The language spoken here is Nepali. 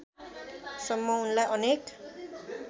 सम्म उनलाई अनेक